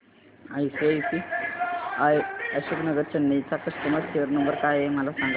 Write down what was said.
ICICI Ashok Nagar Chennai चा customer care number काय आहे मला सांगाना